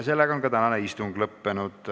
Sellega on ka tänane istung lõppenud.